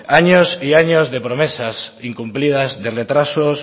años y años de promesas incumplidas de retrasos